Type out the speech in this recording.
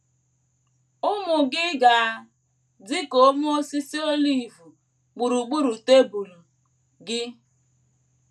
“ Ụmụ gị ga -- adị ka ome osisi olive gburugburu tebụl gị. ”